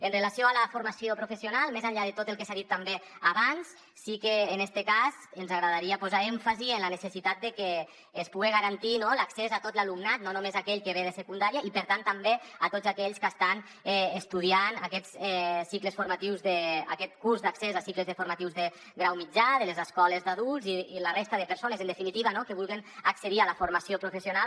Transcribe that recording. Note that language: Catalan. amb relació a la formació professional més enllà de tot el que s’ha dit també abans sí que en este cas ens agradaria posar èmfasi en la necessitat de que es puga garantir l’accés a tot l’alumnat no només aquell que ve de secundària i per tant també a tots aquells que estan estudiant aquests cicles formatius aquest curs d’accés a cicles formatius de grau mitjà de les escoles d’adults i la resta de persones en definitiva no que vulguen accedir a la formació professional